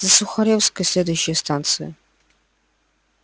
за сухарёвской следующая станция